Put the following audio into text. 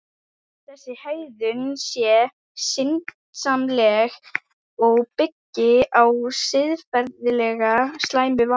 Þessi hegðun sé syndsamleg og byggi á siðferðilega slæmu vali.